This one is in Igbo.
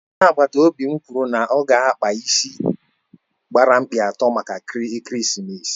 Onye agbata obi m kwụrụ na ọ ga-akpa ịsị gbara mkpị atọ maka ekeresimesi